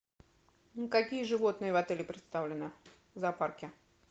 какие животные в отеле представлены в зоопарке